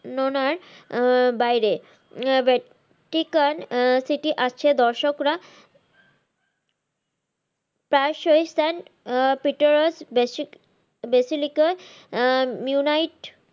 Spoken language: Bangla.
র্ণনার আহ বাইরে আহ সেটি আছে দর্শকরা তার সহিত sir আহ Pitarus